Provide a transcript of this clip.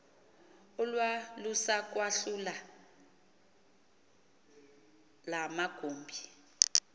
olwalusakwahlula la magumbi